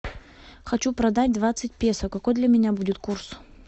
хочу продать двадцать песо какой для меня будет курс